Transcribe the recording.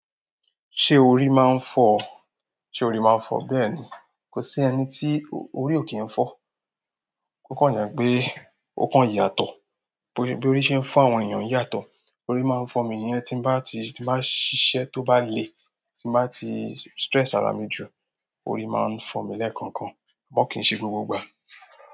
Ṣé orí máa ń fọ́? Sé orí máa ń fọ́, bẹ́ẹ̀ ni. Kò sí ẹni tí orí ò kí ń fọ́. O kan je pe, o kan yàtọ̀, boya. Bí óri ń se n fo àwọn èèyàn yàtọ̀. Orí máa ń fọ́ mi ìyẹn tí n bá ti, tí n bá ṣiṣẹ́ tó bá le, tí n bá ti stress ara mi jù, orí máa ń fọ́ mi lẹ́ẹ̀kọ̀ọ̀kan. Àmọ́ kì n ṣe gbogbo ìgbà.